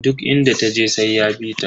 Duk inda taje sai ya bita.